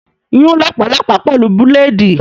Scratch the ringworm with blade!